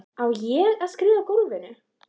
Á ég að skríða í gólfinu?